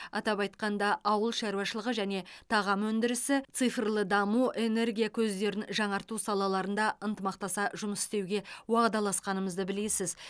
атап айтқанда ауыл шаруашылығы және тағам өндірісі цифрлы даму энергия көздерін жаңарту салаларында ынтымақтаса жұмыс істеуге уағдаласқанымызды білесіз